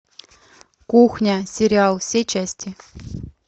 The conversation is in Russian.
кухня сериал все части